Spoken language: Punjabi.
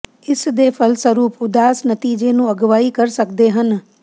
ਇਸ ਦੇ ਫਲਸਰੂਪ ਉਦਾਸ ਨਤੀਜੇ ਨੂੰ ਅਗਵਾਈ ਕਰ ਸਕਦੇ ਹਨ